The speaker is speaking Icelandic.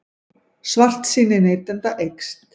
Svartsýni neytenda eykst